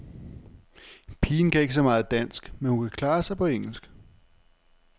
Pigen kan ikke så meget dansk, men hun klarer sig på engelsk.